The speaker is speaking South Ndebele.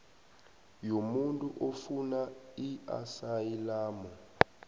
yomuntu ofuna iasayilamu